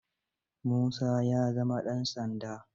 Musa ya zama ɗan sanda.